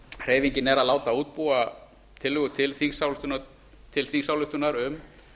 hreyfingin er að láta útbúa tillögu til þingsályktunar um